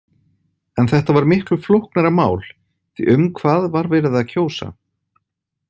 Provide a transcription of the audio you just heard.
En þetta var miklu flóknara mál því um hvað var verið að kjósa.